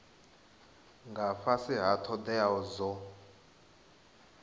nga fhasi ha thodea dzo